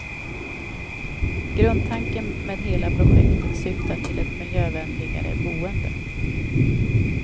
Grundtanken med hela projektet syftar till ett miljövänligare boende.